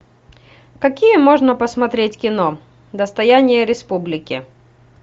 какие можно посмотреть кино достояние республики